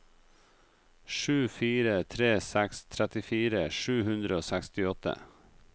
sju fire tre seks trettifire sju hundre og sekstiåtte